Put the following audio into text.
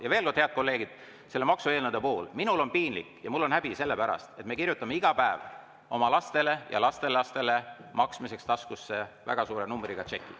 Ja veel kord, head kolleegid: selle maksueelnõu puhul on mul piinlik ja häbi, sest me kirjutame iga päev oma lastele ja lastelastele maksmiseks taskusse väga suure numbriga tšeki.